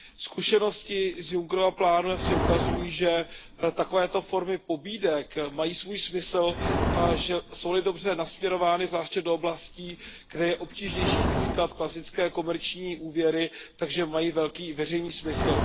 Zkušenosti z Junckerova plánu jasně ukazují, že takovéto formy pobídek mají svůj smysl a že jsou li dobře nasměrovány, zvláště do oblastí, kde je obtížnější získat klasické komerční úvěry, mají velký veřejný smysl.